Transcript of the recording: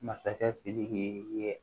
Masakɛ sidiki ye